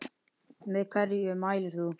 Með hverju mælir þú?